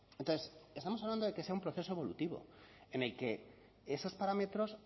entonces estamos hablando de que sea un proceso evolutivo en el que esos parámetros